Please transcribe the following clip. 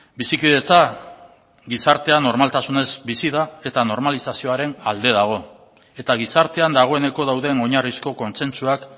bizikidetza gizartea normaltasunez bizi da eta normalizazioaren alde dago eta gizartean dagoeneko dauden oinarrizko kontsentsuak